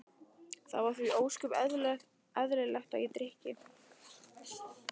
Það var því ósköp eðlilegt að ég drykki.